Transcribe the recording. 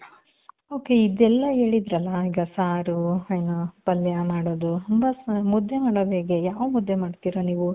ok ಇದೆಲ್ಲ ಹೇಳಿದ್ರಲ್ಲ, ಈಗ ಸಾರು, ಏನು ಪಲ್ಯ ಮಾಡೊದು ಮುದ್ದೆ ಮಾಡೋದ್ ಹೇಗೆ ಯಾವ್ ಮುದ್ದೆ ಮಾಡ್ತಿರ ನೀವು .